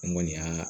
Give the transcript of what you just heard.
N kɔni y'a